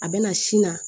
A bɛ na sin na